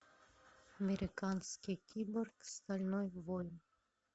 американский киборг стальной воин